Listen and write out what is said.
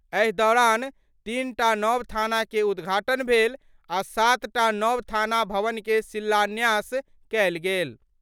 एहि दौरान तीनटा नव थाना के उद्धाटन भेल आ सातटा नव थाना भवन के शिलान्यास कयल गेल।